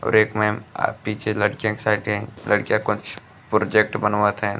और एक मैम आ पीछे लड़कियाँ के । लड़कियाँ कुछ पोरजेक्ट बनवत हैं।